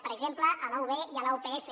per exemple a la ub i a la upf